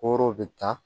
Koro bɛ taa